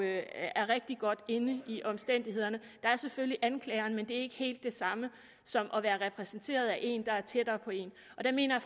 er rigtig godt inde i omstændighederne der er selvfølgelig anklageren men det er ikke helt det samme som at være repræsenteret af en der er tættere på en og der mener